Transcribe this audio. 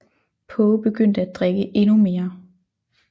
Poe begyndte at drikke endnu mere